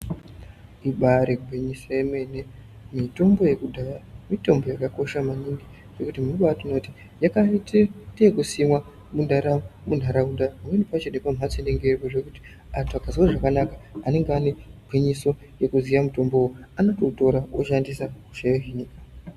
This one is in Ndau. Ibaari gwinyiso yemene mitombo yekudhaya mitombo yakakosha maningi nekuti muntu unobaatoona kuti yakaita yekusimwa mundaraunda. Pamweni pacho nepamhatso inenge iripo zvekuti antu akasazwa zvakanaka anenge anegwinyiso yekuziya mutombowo anototora oshandisa, hosha yohinika.